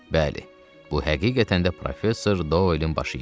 Bəli, bu həqiqətən də Professor Doelin başı idi.